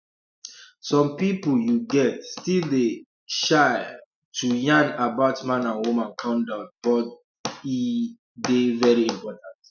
some pipu you get still dey um shy um to yarn about man and woman condom but but e um dey very important